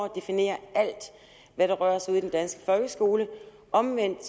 definerer alt hvad der rører sig ude i den danske folkeskole omvendt